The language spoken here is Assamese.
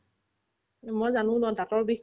মই জানো ন দাঁতৰ বিষ